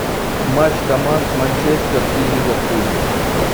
матч команд манчестер и ливерпуль